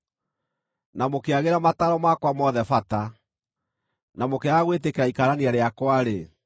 na mũkĩagĩra mataaro makwa mothe bata, na mũkĩaga gwĩtĩkĩra ikaanania rĩakwa-rĩ,